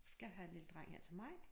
Skal have en lille dreng her til maj